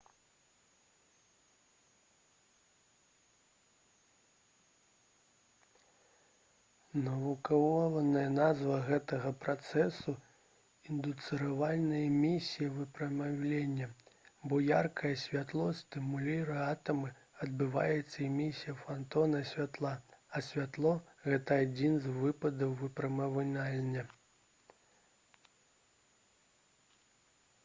навуковая назва гэтага працэсу — «індуцыраваная эмісія выпраменьвання» бо яркае святло стымулюе атамы адбываецца эмісія фатона святла а святло — гэта адзін з тыпаў выпраменьвання